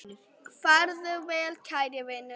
Farðu vel kæri vinur.